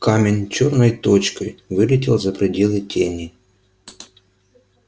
камень чёрной точкой вылетел за пределы тени